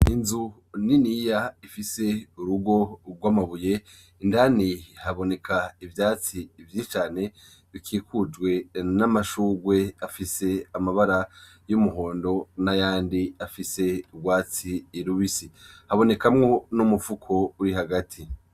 Inzu niniya ifise urugo rw'amabuye. Indani haboneka ivyatsi vyinshi cane, bikikujwe n'amashurwe afise amabara y'umuhondo n'ayandi afise urwatsi irubisi. Habonekamwo n'umufuko uri hagati.